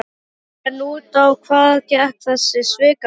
En út á hvað gekk þessi svikamylla?